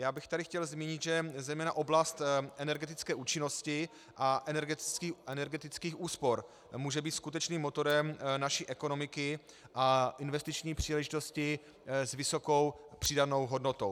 Já bych tady chtěl zmínit, že zejména oblast energetické účinnosti a energetických úspor může být skutečným motorem naší ekonomiky a investiční příležitosti s vysokou přídavnou hodnotou.